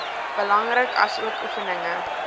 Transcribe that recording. belangrik asook oefeninge